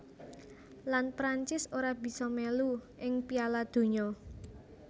Lan Prancis ora bisa melu ing Piala Donya